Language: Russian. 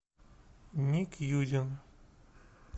ник юдин